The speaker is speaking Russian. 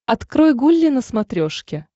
открой гулли на смотрешке